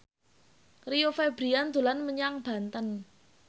Rio Febrian dolan menyang Banten